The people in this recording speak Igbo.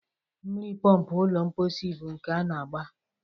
Mmiri pọmpụ ụlọ mposi bụ nke na-agbaa